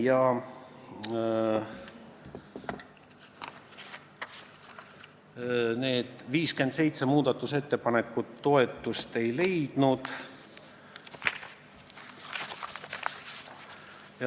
57 muudatusettepanekut toetust ei leidnud.